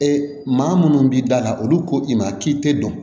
Ee maa minnu b'i da la olu ko i ma k'i tɛ dɔn